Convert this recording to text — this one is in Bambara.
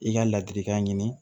I ka ladilikan ɲini